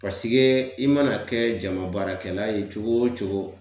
Pasege i mana kɛ jama baarakɛla ye cogo o cogo